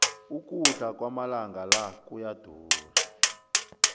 ukudla kwamalanga la kuyadura